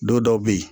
Don dɔw bɛ yen